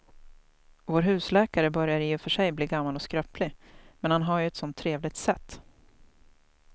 Vår husläkare börjar i och för sig bli gammal och skröplig, men han har ju ett sådant trevligt sätt!